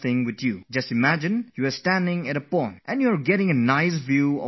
Just imagine yourself standing at the edge of a pond and you can see beautiful things at its bottom